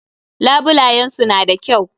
Labulayen su na da kyau.